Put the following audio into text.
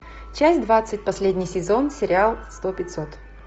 часть двадцать последний сезон сериал сто пятьсот